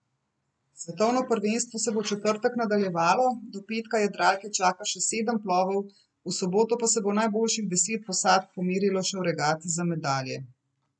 Svetovno prvenstvo se bo v četrtek nadaljevalo, do petka jadralke čaka še sedem plovov, v soboto pa se bo najboljših deset posadk pomerilo še v regati za medalje.